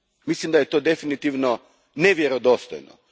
Mislim da je to definitivno nevjerodostojno.